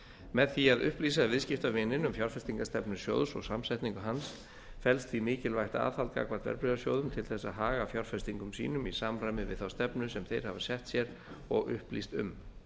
með því að upplýsa viðskiptavininn um fjárfestingarstefnu sjóðs og samsetningu hans felst því mikilvægt aðhald gagnvart verðbréfasjóðum til þess að haga fjárfestingum sínum í samræmi við þá stefnu sem þeir hafa sett sér og upplýst um